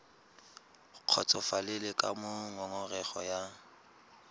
kgotsofalele ka moo ngongorego ya